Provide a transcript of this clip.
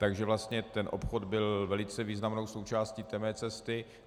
Takže vlastně ten obchod byl velice významnou součástí té mé cesty.